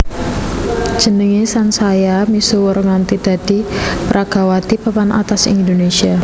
Jenengé sansaya misuwur nganti dadi peragawati papan atas ing Indonésia